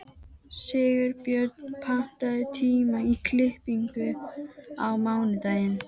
Sigurbjörn, pantaðu tíma í klippingu á mánudaginn.